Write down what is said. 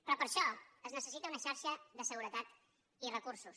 però per a això es necessita una xarxa de seguretat i recursos